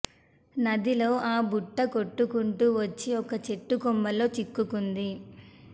నదిలో ఆ బుట్ట కొట్టుకుంటూ వచ్చి ఒక చెట్టు కొమ్మల్లో చిక్కుకుంది